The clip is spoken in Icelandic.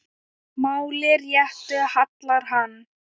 máli réttu hallar hann